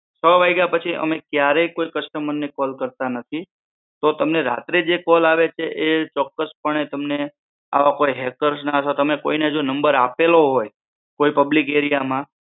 છ વાગ્યા પછી અમે ક્યારે કોઈ કસ્ટમર ને કોલ કરતા નથી તો તમને રાત્રે જે કોલ આવે છે એ ચોક્કસ પણે તમને આવા કોઈ હેકર્સ ના અથવા તમે કોઈને નંબર આપેલો હોય કોઈ પબ્લિક એરિયામાં